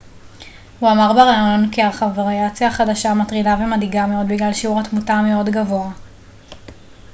הוא אמר בראיון כי הוריאציה החדשה מטרידה ומדאיגה מאוד בגלל שיעור התמותה המאוד גבוה